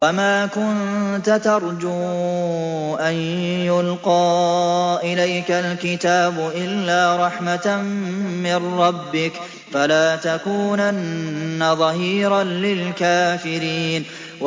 وَمَا كُنتَ تَرْجُو أَن يُلْقَىٰ إِلَيْكَ الْكِتَابُ إِلَّا رَحْمَةً مِّن رَّبِّكَ ۖ فَلَا تَكُونَنَّ ظَهِيرًا لِّلْكَافِرِينَ